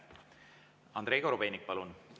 Andrei Korobeinik, palun!